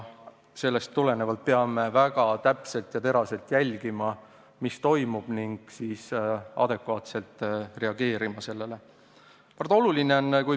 Sellest tulenevalt peame väga täpselt ja teraselt jälgima, mis toimub, ning sellele adekvaatselt reageerima.